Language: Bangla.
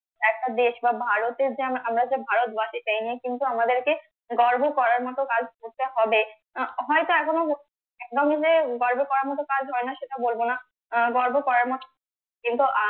একটা দেশ বা ভারতের যেমন আমরা যে ভারতবাসী তাই নিয়ে কিন্তু আমাদেরকে গর্ব করার মতো কাজ করতে হবে আহ হয়তো এখনো একদম যে গর্ব করার মতো কাজ হয় না সেটা বলবো না আহ গর্ব করার মতো কিন্তু